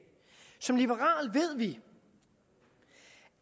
som liberale ved vi